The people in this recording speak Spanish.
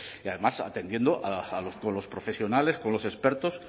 y además atendiendo a los profesionales con los expertos